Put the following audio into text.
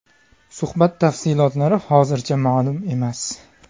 Suhbat tafsilotlari hozircha ma’lum emas.